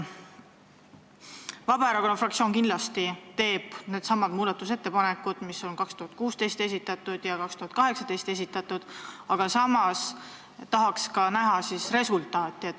Vabaerakonna fraktsioon teeb kindlasti needsamad muudatusettepanekud, mis on esitatud 2016 ja 2018, aga samas tahaksime näha ka resultaati.